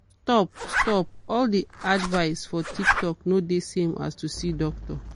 stop_stop all de advice for tiktok e no de same like to see doctor.